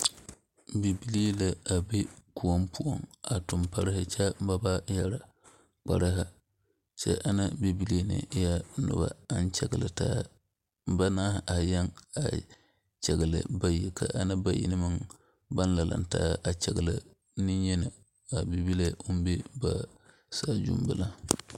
Bibilee la be koɔ poɔ a tug parre kyɛ ba wa yɛɛre kparrre kyɛ ana bbibiilee na eɛɛɛ noba aŋ kyɛglitaa bannaare aree a kyɛgli bayi ka ana bayi na lantaa kyɛgli neŋyeni a bibile o be saazu bela